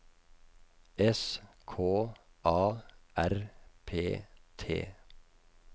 S K A R P T